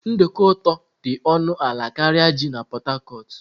Nduku ụtọ dị ọnụ ala karịa ji na Port Harcourt.